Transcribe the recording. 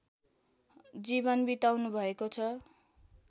जीवन बिताउनुभएको छ